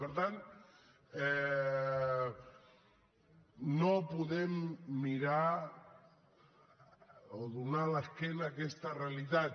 i per tant no podem donar l’esquena a aquesta realitat